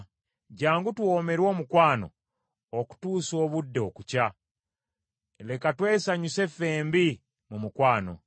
Jjangu tuwoomerwe omukwano okutuusa obudde okukya; leka twesanyuse ffembi mu mukwano.